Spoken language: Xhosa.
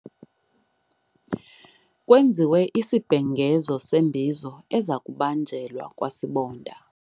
Kwenziwe isibhengezo sembizo eza kubanjelwa kwasibonda.